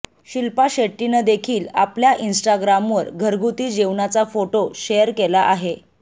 शिल्पा शेट्टीनं देखिल आपल्या इन्टाग्रामवर घरगुती जेवणाचा फोटो शेअर केला आहे